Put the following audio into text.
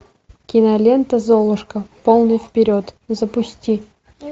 кинолента золушка полный вперед запусти